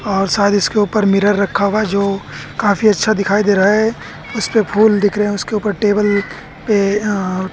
और शायद इसके ऊपर मिरर रखा हुआ है जो काफी अच्छा दिखाई दे रहा है उसपे फूल दिख रहे हैं उसके ऊपर टेबल पे अ--